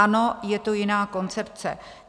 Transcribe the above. Ano, je to jiná koncepce.